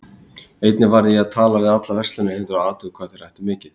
Einnig varð ég að tala við alla verslunareigendur og athuga hvað þeir ættu mikið.